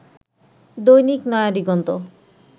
দৈনিক নয়া দিগন্ত